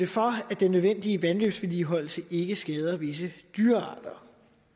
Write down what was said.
for at den nødvendige vandløbsvedligeholdelse ikke skader visse dyrearter